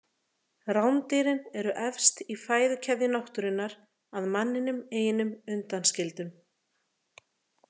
Rándýrin eru efst í fæðukeðju náttúrunnar að manninum einum undanskildum.